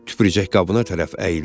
Tüpürcək qabına tərəf əyildi.